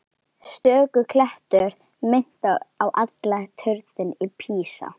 Stöku klettur minnti á halla turninn í Písa.